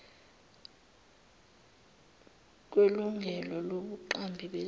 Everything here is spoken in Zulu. kwelungelo lobuqambi bezinto